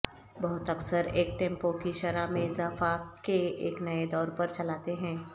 بہت اکثر ایک ٹیمپو کی شرح میں اضافہ کے ایک نئے دور پر چلاتے ہیں